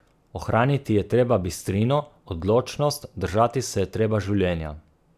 Ohraniti je treba bistrino, odločnost, držati se je treba življenja.